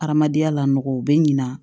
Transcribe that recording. Adamadenya la nɔgɔ u bɛ ɲina